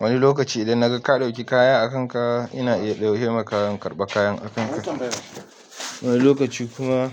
Wani lokaci idan naga ka ɗauki kaya a kanka, ina iya ɗauke maka in karɓa kayan a kanka. Wani lokaci kuma.